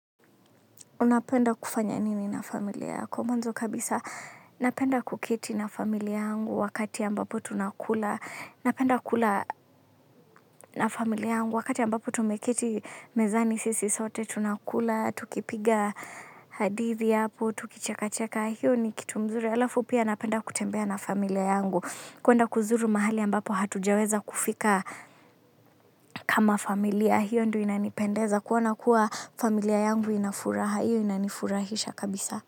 Unapenda kufanya nini na familia yako? Mwanzo kabisa napenda kuketi na familia yangu wakati ambapo tunakula. Napenda kula na familia yangu wakati ambapo tumeketi mezani sisi sote tunakula, tukipiga hadithi hapo, tukicheka-cheka. Hiyo ni kitu mzuri. Halafu pia napenda kutembea na familia yangu kuenda kuzuru mahali ambapo hatujaweza kufika kama familia. Hiyo ndio inanipendeza kuona kuwa familia yangu ina furaha, hiyo inanifurahisha kabisa.